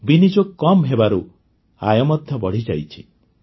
ବିନିଯୋଗ କମ୍ ହେବାରୁ ଆୟ ମଧ୍ୟ ବଢ଼ିଯାଇଛି